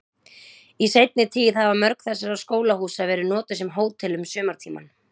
Í seinni tíð hafa mörg þessara skólahúsa verið notuð sem hótel um sumartímann.